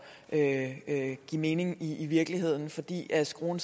at give mening i virkeligheden fordi skruen